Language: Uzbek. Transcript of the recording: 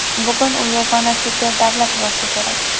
Bugun u yagona super davlat bo‘lsa kerak.